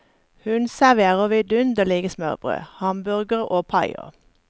Hun serverer vidunderlige smørbrød, hamburgere og paier.